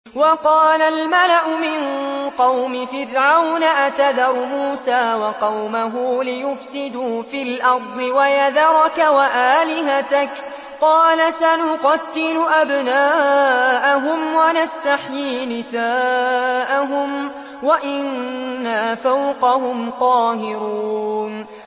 وَقَالَ الْمَلَأُ مِن قَوْمِ فِرْعَوْنَ أَتَذَرُ مُوسَىٰ وَقَوْمَهُ لِيُفْسِدُوا فِي الْأَرْضِ وَيَذَرَكَ وَآلِهَتَكَ ۚ قَالَ سَنُقَتِّلُ أَبْنَاءَهُمْ وَنَسْتَحْيِي نِسَاءَهُمْ وَإِنَّا فَوْقَهُمْ قَاهِرُونَ